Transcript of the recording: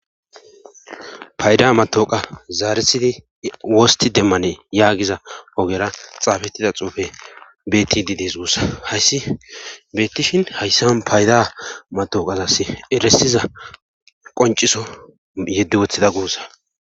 payda matoqa zaaresidi wosti demmane yaagiza ogera xaafettida xuufe betididis uussa hayssi beettishin hayssan payda mato qazas eresiza qonciso yedde woththida guussa